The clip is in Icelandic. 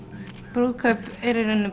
brúðkaup er í rauninni